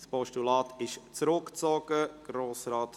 Dieses Postulat ist zurückgezogen worden.